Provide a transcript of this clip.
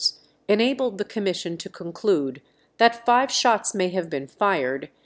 дтп в шахтах